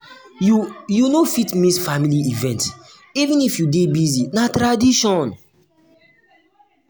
you you um no fit miss family event even if you dey busy na tradition.